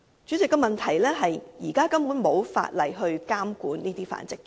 主席，問題是現時根本沒有法例監管這些繁殖場。